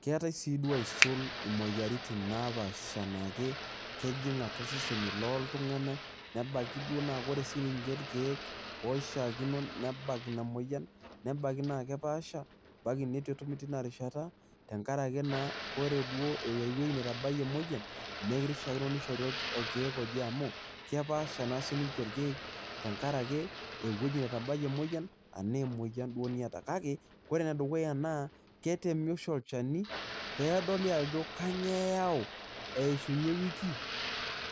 keetae siiduo aisul imoyiaritin napaasha naa kejing atua seseni looltungana, nebaiki duo naa ore siii ninche irkeek oishaakino nebak ina moyian, nebaiki naa kepaasha, ebaiki naa keitu etumi teiina rishata. tenkaraki naa ore duo ewueji neitu ebaiki ina moyiian neeku kishaakino nishori irkeek amu kepaasha naa sii ninche irkeek, tenkaraki ewueji netabayie emoyian, enaa emoyian duoo niata. kake ore ene dukuya naa, ketemi oshi olchani pee edoli ajo kainyioo eyau eishunye ewiki,